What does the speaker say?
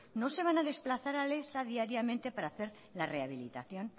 no se van a desplazar a leza diariamente para hacer la rehabilitación